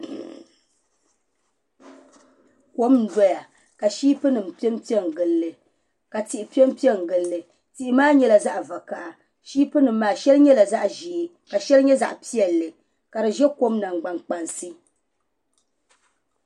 Kom n ʒɛya ka shiipi nim piɛ piɛ n gilli ka tihi piɛ piɛ n gilli tihi maa nyɛla zaɣ vakaɣa shiip nim maa shɛli nyɛla zaɣ ʒiɛ ka shɛli nyɛ zaɣ piɛlli ka di ʒɛ kom nangbani kpansi